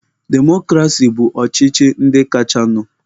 Demokrasi bụ ọchịchị ndị kachanụ.